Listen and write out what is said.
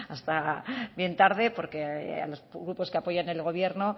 hasta bien tarde porque a los grupos que apoyan el gobierno